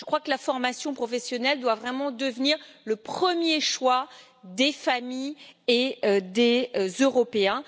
Je crois que la formation professionnelle doit vraiment devenir le premier choix des familles et des Européens.